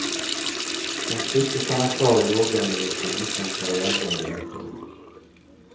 De slipper stanna kvar i låglöneyrken utan karriärmöjligheter.